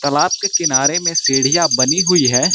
तालाब के किनारे में सीढ़ियां बनी हुई हैं।